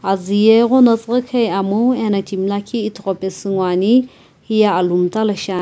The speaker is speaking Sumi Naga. azu ye ighono tsughukhui amo ena timi lakhi ithughu pesu ngoani hiye aluu mta lo shia--